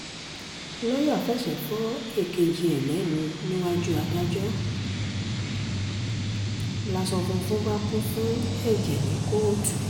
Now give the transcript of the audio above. lọ́ọ́yà fẹsẹ̀ fọ èkejì ẹ̀ lẹ́nu níwájú adájọ́ láṣo funfun bá kún fún ẹ̀jẹ̀ ní kóòtù